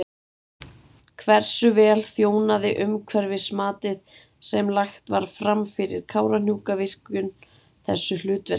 Hversu vel þjónaði umhverfismatið sem lagt var fram fyrir Kárahnjúkavirkjun þessu hlutverki?